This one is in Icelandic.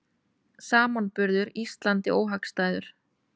Samanburður Íslandi óhagstæður